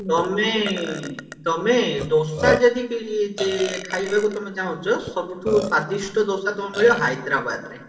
ତମେ ତମେ ଦୋସା ଯଦି କି ଚେ ଖାଇବାକୁ ତମେ ଚାହୁଁଚ ସବୁଠୁ ସ୍ଵାଦିଷ୍ଟ ଦୋସା ତମକୁ ମିଳିବ ହାଇଦ୍ରାବାଦ ରେ